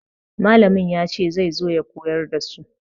Mallamin ya ce zai zo ya koyar da su.